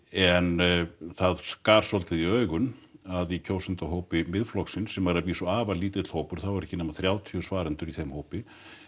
en það skar svolítið í augun að í kjósendahópi Miðflokksins sem er að vísu afar lítill hópur það voru ekki nema þrjátíu svarendur í þeim hópi